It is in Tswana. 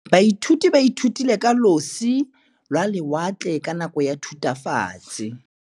Baithuti ba ithutile ka losi lwa lewatle ka nako ya Thutafatshe.